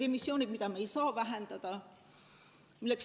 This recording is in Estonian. On emissioonid, mida me ei saa vähendada.